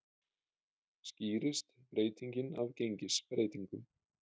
Skýrist breytingin af gengisbreytingum